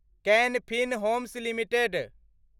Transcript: कान Fin Homes limited